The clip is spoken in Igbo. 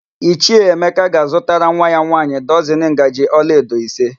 Ichie Emeka ga-azutara nwa ya nwaanyị dọzịn ngaji olaedo ise.